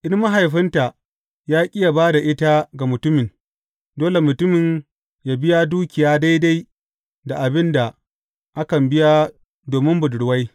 In mahaifinta ya ƙi yă ba da ita ga mutumin, dole mutumin yă biya dukiya daidai da abin da akan biya domin budurwai.